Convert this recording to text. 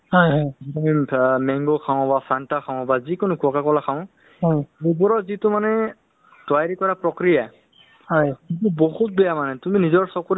so আৰু এটা কথা নহয় আমাৰ জীওটো মানে অ দৈনন্দিন জীৱন বা daily life ত মানে আমি health ৰ প্ৰতি ইমান secured নাই বা ইমান serious নহও যেন মোক লাগে দে